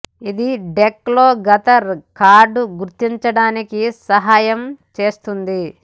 ఇది డెక్ లో గత కార్డు గుర్తించడానికి సహాయం చేస్తుంది